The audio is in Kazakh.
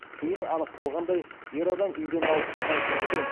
кейін анықталғандай ер адам үйден алып шыққан кілтпен